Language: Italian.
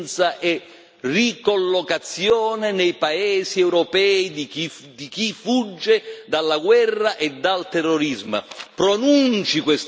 Accoglienza e ricollocazione nei paesi europei di chi fugge dalla guerra e dal terrorismo.